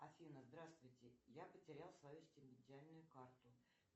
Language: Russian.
афина здравствуйте я потерял свою стипендиальную карту